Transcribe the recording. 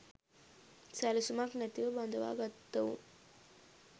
සැලසුමක් නැතිව බඳවා ගත්තවුන්